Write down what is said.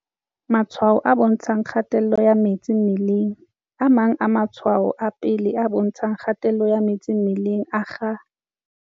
Matshwao a bontshang kgaello ya metsi mmelengA mang a matshwao a pele a bontshang kgaello ya metsi mmeleng a akga.